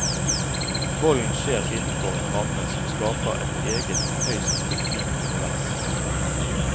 Volden skjer innenfor en ramme som skaper et eget, høyst fiktivt univers.